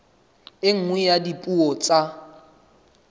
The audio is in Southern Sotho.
e nngwe ya dipuo tsa